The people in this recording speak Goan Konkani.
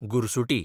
गुरसुटी